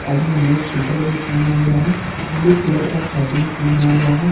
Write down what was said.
आदमी ने शूटर भी पहना हुआ है ब्लू कलर का शर्ट भी पहना हुआ है।